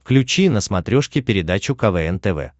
включи на смотрешке передачу квн тв